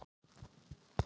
Það reyndist rangt